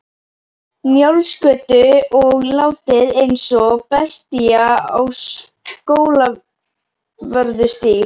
Njálsgötu og látið eins og bestía á Skólavörðustíg.